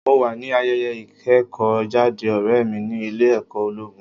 Mo wà ní ayẹyẹ ìkẹ́kọ̀ọ́ jáde ọ̀rẹ́ mi ní ilé ẹ̀kọ́ ológun.